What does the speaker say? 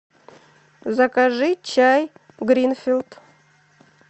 закажи чай гринфилд